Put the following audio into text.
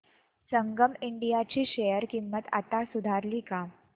संगम India ची share किंमत आता सुधारली का